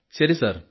ശരി സാർ